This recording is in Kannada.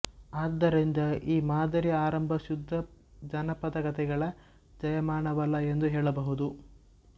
ಆದ್ದರಿಂದ ಈ ಮಾದರಿಯ ಆರಂಭ ಶುದ್ಧ ಜನಪದಕಥೆಗಳ ಜಾಯಮಾನವಲ್ಲ ಎಂದು ಹೇಳಬಹುದು